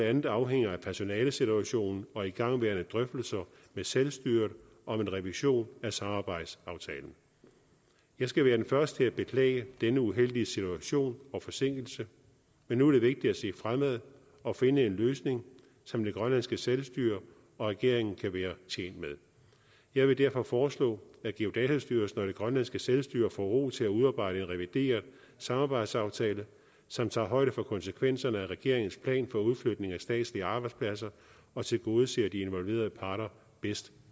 andet afhænger af personalesituationen og igangværende drøftelser med selvstyret om en revision af samarbejdsaftalen jeg skal være den første til at beklage denne uheldige situation og forsinkelse men nu er det vigtigt at se fremad og finde en løsning som det grønlandske selvstyre og regeringen kan være tjent med jeg vil derfor foreslå at geodatastyrelsen og det grønlandske selvstyre får ro til at udarbejde en revideret samarbejdsaftale som tager højde for konsekvenserne af regeringens plan for udflytning af statslige arbejdspladser og tilgodeser de involverede parter bedst